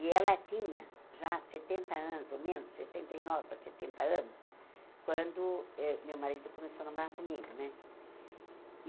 E ela tinha já setenta anos, ou menos, sessenta e nove para setenta anos, quando eh meu marido começou a namorar comigo, né?